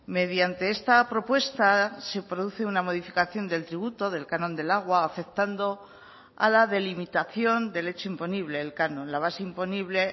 mediante esta propuesta se produce una modificación del tributo del canon del agua afectando a la delimitación del hecho imponible el canon la base imponible